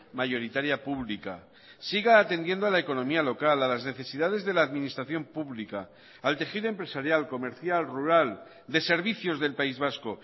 mayoritaria pública siga atendiendo a la economía local a las necesidades de la administración pública al tejido empresarial comercial rural de servicios del país vasco